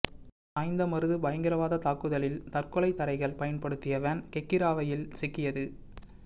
சாய்ந்தமருது பயங்கரவாத தாக்குதலில் தற்கொலை தரைகள் பயன்படுத்திய வேன் கெக்கிராவையில் சிக்கியது